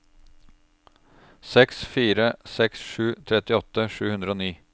seks fire seks sju trettiåtte sju hundre og ni